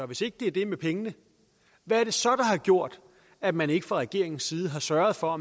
hvis ikke det er det med pengene hvad er det så der har gjort at man ikke fra regeringens side har sørget for at